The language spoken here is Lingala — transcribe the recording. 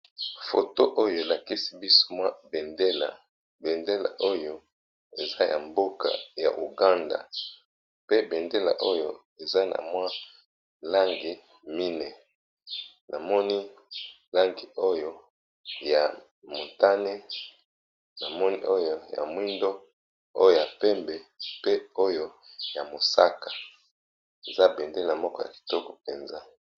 foto oyo elakisi biso mwa bendela bendela oyo eza ya mboka ya uganda pe bendela oyo eza na mwa langi mine namoni langi oyo ya motane na moni oyo ya mwindo oyo ya pembe pe oyo ya mosaka eza bendela moko ya kitoko mpenza